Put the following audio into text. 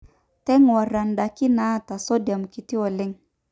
teng'uarra indaiki naata sodium kiti oleng